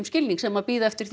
skilning sem bíða eftir